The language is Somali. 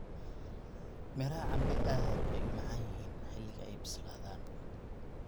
Midhaha cambe aad bay u macaan yihiin xilliga ay bislaadaan.